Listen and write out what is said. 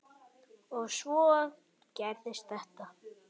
Og svo gerist þetta.